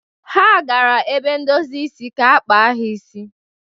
Ha gara ebe ndozi isi ka ha kpa isi ha.